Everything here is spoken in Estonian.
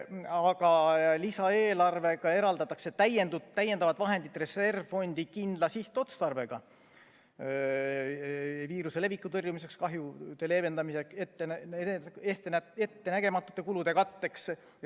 Aga lisaeelarvega eraldatakse täiendavad vahendid reservfondi kindla sihtotstarbega: viiruse leviku tõrjumiseks, kahjude leevendamiseks, ettenägematute kulude katteks.